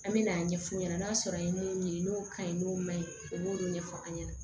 An me n'a ɲɛfu ɲɛna n'a sɔrɔ a ye mun ɲini n'o ka ɲi n'o ma ɲi o b'o de ɲɛfɔ an ɲɛna